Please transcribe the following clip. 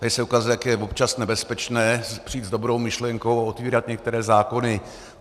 Tady se ukazuje, jak je občas nebezpečné přijít s dobrou myšlenkou a otevírat některé zákony.